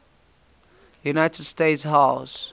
united states house